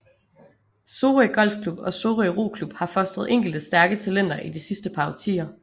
Sorø Golfklub og Sorø Roklub har fostret enkelte stærke talenter i de sidste par årtier